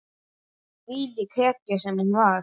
Þvílík hetja sem hún var.